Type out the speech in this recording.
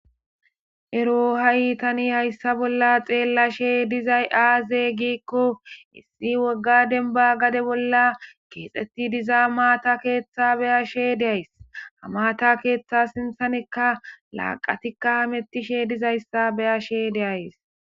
Ero tani ha'i haysa bolla xeellashe dizay aaze giiko,issi wogga demba gade bolla keexeti diza maata keetha be'ays. Ha maata keetha sinthenika laaqatika hametishe dizaysa be'ays.